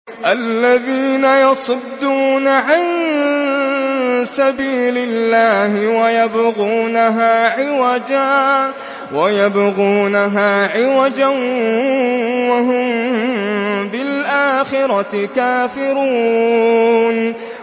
الَّذِينَ يَصُدُّونَ عَن سَبِيلِ اللَّهِ وَيَبْغُونَهَا عِوَجًا وَهُم بِالْآخِرَةِ كَافِرُونَ